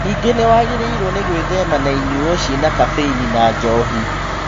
Ningĩ nĩwagĩrĩirwo nĩ gwĩthema na inyuo ciĩna kabeini na njohi